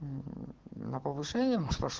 на повышение мож пош